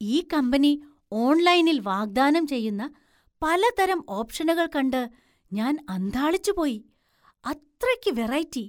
ഈ കമ്പനി ഓൺലൈനിൽ വാഗ്ദാനം ചെയ്യുന്ന പലതരം ഓപ്ഷനുകൾ കണ്ട് ഞാൻ അന്ധാളിച്ചു പോയി. അത്രയ്ക്ക് വെറൈറ്റി!